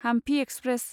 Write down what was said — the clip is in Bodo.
हामफि एक्सप्रेस